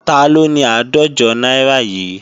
Taló ni àádọ́jọ náírà yìí?